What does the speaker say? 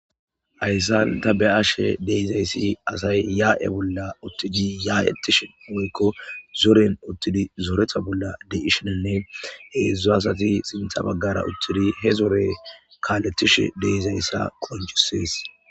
Hayssan tabeyashe dizayssi asay ye77e uttidi ya77etishe woykko zoren zoreta bolla dishin heezu asati sinta bagara uttidi he zore kalethishe uttidayssa qoncisses